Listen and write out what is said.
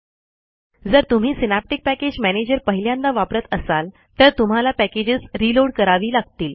जर तुम्ही Synaptic package manager पहिल्यांदा वापरत असाल तर तुम्हाला पॅकेजेस रीलोड करावी लागतील